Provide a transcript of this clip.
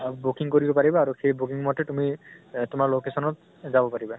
আ booking কৰিব পাৰিবা আৰু সেই booking মতে তুমি এহ তোমাৰ location ত যাব পাৰিবা